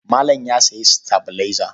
Malam ya sayi sitabilaiza.